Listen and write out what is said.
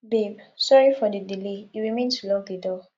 babe sorry for the delay e remain to lock the door